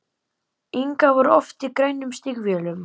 Inga var oft í grænum stígvélum.